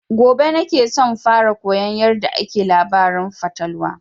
Gobe na ke son fara koyan yarda ake labarin fatalwa